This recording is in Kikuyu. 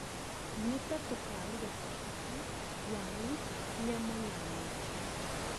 Nĩtatũkaruga cabaci, waru, nyama na miji